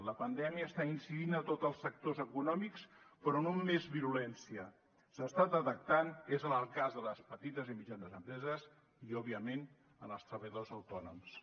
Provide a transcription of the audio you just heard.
la pandèmia està incidint a tots els sectors econòmics però on més virulència s’està detectant és en el cas de les petites i mitjanes empreses i òbviament en els treballadors autònoms